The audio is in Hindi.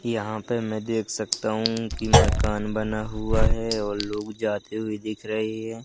यहां पे मैं देख सकता हूं कि मकान बना हुआ है और लोग जाते हुए दिख रहे हैं।